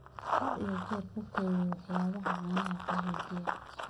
Had iyo jeer ku kaydi waxyaabaha caanaha qaboojiyaha.